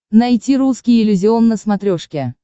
найти русский иллюзион на смотрешке